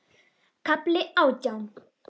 KAFLI ÁTJÁN